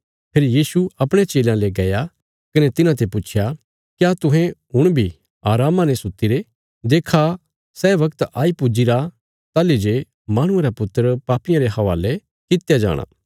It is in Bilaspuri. फेरी यीशु अपणे चेलयां ले गया कने तिन्हांते पुच्छया क्या तुहें हुण बी अरामा ने सुत्तीरे देक्खा सै वगत आई पुज्जीरी ताहली जे माहणुये रा पुत्र पापियां रे हवाले कित्या जाणा